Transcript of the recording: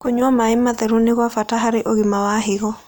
Kũnyua mae matherũ nĩ gwa bata harĩ ũgima wa hĩgo